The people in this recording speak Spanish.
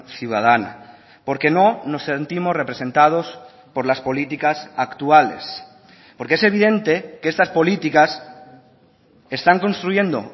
ciudadana porque no nos sentimos representados por las políticas actuales porque es evidente que estas políticas están construyendo